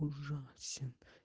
ужасен